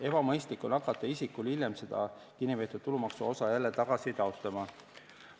Ebamõistlik on hakata isikul hiljem seda kinnipeetud tulumaksuosa tagasi taotlema.